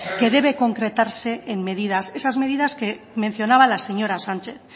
que debe concretarse en medidas esas medidas que mencionaba la señora sánchez